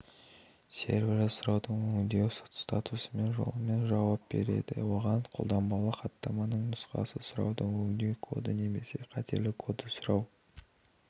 сервері сұрауды өңдеу статусы жолымен жауап береді оған қолданбалы хаттаманың нұсқасы сұрауды өңдеу коды немесе қателік коды сұрау